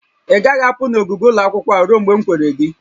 Ị gaghị apụ n'ogige ụlọ akwụkwọ a ruo mgbe m kwere gị!